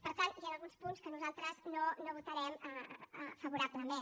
per tant hi han alguns punts que nosaltres no votarem favorablement